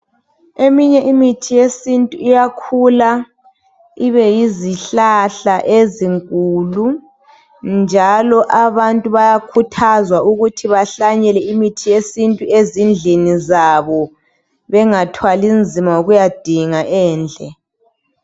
Eminye imithi iyakhula ibe yizihlahla ezinkulu. Njalo abantu bayakhuthazwa ukuthi behlanyele imithi yesintu ezindlini zabo, bengathwali nzima ngokuyadinga endle.